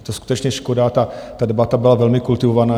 Je to skutečně škoda, ta debata byla velmi kultivovaná.